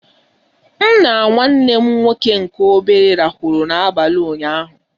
M na nwanne m nwoke nke obere rahụrụ na abalị ụnyaahụ.